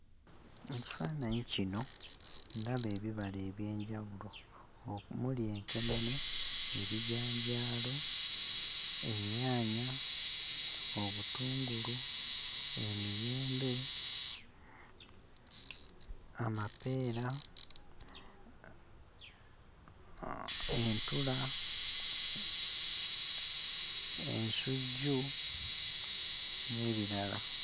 Mu kifaananyi kino, ndaba ebibala eby'enjawulo omuli enkenene, ebijanjaalo, ennyaanya, obutungulu, emiyembe, amapeera entula, ensujju n'ebirala.